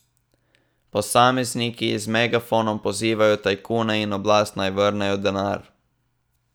Posamezniki z megafonom pozivajo tajkune in oblast, naj vrnejo denar.